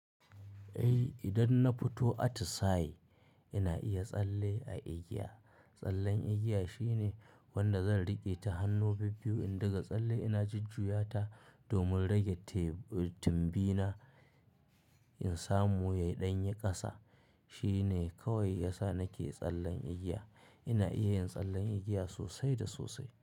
Eh idan na fito atisai ina iya tsalle a igiya. Tsallen igiya shine wanda zan riƙe ta hannu bibbiyu in daga tsalle ina jujjuyata domin rage tumbi na in samu ya ɗanye ƙasa. Shi ne kawai yasa nake tsallen igiya. Ina iya yin tsallen igiya sosai da sosai.